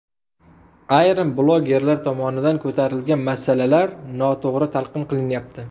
Ayrim blogerlar tomonidan ko‘tarilgan masalalar noto‘g‘ri talqin qilinyapti.